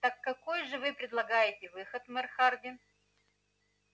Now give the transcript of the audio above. так какой же вы предлагаете выход мэр хардин